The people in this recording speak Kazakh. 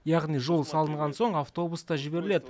яғни жол салынған соң автобус та жіберіледі